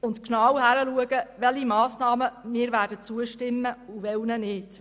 Wir werden genau hinschauen, welchen Massnahmen wir zustimmen und welchen nicht.